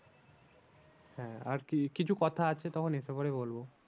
হ্যাঁ আর কি কিছু কথা আছে তখন এসে পরে বলবো।